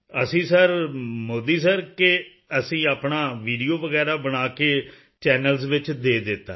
ਅਸੀਂ sir Modi sir ਕਿ ਅਸੀਂ ਆਪਣਾ ਵੀਡੀਓ ਵਗੈਰਾ ਬਣਾ ਕੇ ਚੈਨਲਜ਼ ਵਿੱਚ ਦੇ ਦਿੱਤਾ ਹੈ